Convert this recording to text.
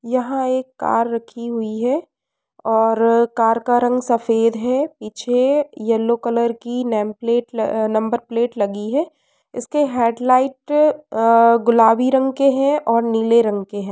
यहाँ एक कार रखी हुई है और कार का रंग सफ़ेद है पीछे यल्लो कलर की नेम प्लेट अ नंबर प्लेट लगी है। इसके हेडलाइट अ गुलाबी रंग के है और नीले रंग के हैं।